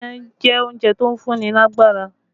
Iyán jẹ́ oúnjẹ tó ń fún ní lágbára